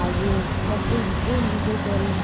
ಹಾಗೆ ಮತ್ತೆ ಏನ್ ವಿಶೇಷ ಎಲ್ಲ?